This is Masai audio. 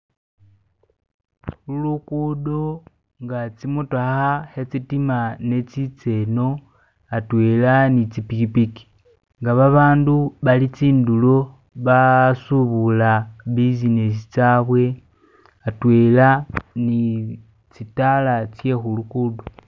Lugudo nga tsimotokha khe tsidima nga netsitsa eno atwela ni tsi pikhipikhi nga babandu bali tsindulo basubula businesi tsabwe hatwela ni tsitala tse khulugudo